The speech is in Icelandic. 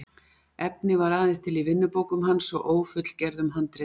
efnið var aðeins til í vinnubókum hans og ófullgerðum handritum